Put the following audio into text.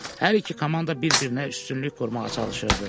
Hər iki komanda bir-birinə üstünlük qurmağa çalışırdı.